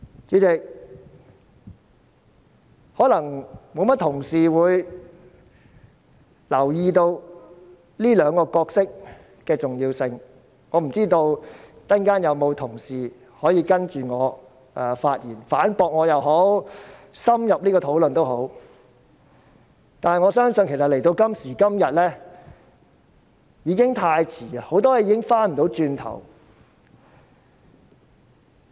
主席，可能不多同事會留意這兩個角色的重要性，我不知道稍後有否同事接着我發言，反駁我也好，作深入討論也好，但我相信到了今時今日，已經太遲，很多事情已不能回頭。